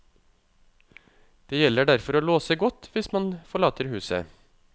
Det gjelder derfor å låse godt hvis man forlater huset.